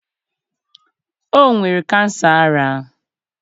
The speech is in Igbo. o nwere kansa ara.